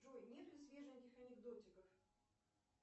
джой нет ли свеженьких анекдотиков